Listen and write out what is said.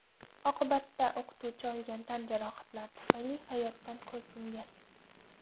Oqibatda o‘qituvchi olgan tan jarohatlari tufayli hayotdan ko‘z yumgan.